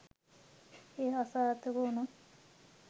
ඒක අසාර්ථක වුණොත්